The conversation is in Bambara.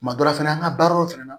Kuma dɔ la fɛnɛ an ka baaraw fɛnɛ na